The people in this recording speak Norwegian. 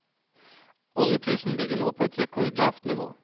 Oljeprisen ligger nå på et rekordlavt nivå.